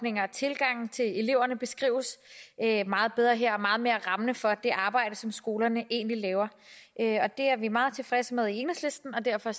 tilgange til eleverne beskrives meget bedre her og meget mere rammende for det arbejde som skolerne egentlig laver det er vi meget tilfredse med i enhedslisten og derfor